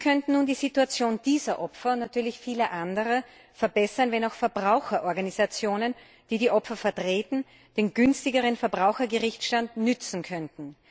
Wir könnten nun die Situation dieser Opfer und vieler anderer verbessern, wenn auch Verbraucherorganisationen, die die Opfer vertreten, den günstigeren Verbrauchergerichtsstand nützen könnten.